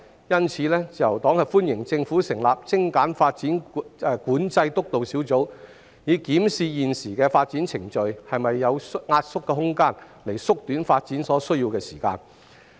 因此，自由黨歡迎政府成立"精簡發展管制督導小組"，以檢視現時的發展程序是否有壓縮的空間，從而縮短發展所需的時間。